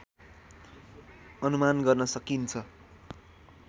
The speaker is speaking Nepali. अनुमान गर्न सकिन्छ।